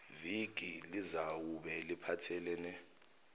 viki lizawube liphathelene